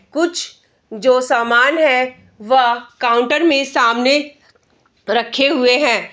कुछ जो सामान है वह काउंटर में सामने रखे हुए हैं।